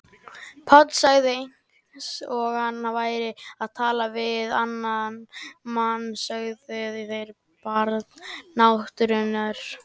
Páll sagði eins og hann væri að tala við annan mann: Sögðuð þér Barn náttúrunnar?